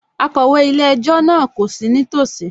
Akọ̀wé ilé-ẹjọ́ náà kò ní sí nítòsí